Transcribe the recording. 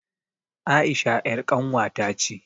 Aisha ƴar ƙanwa ta ce